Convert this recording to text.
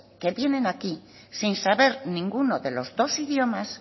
que tienen aquí sin saber ninguno de los dos idiomas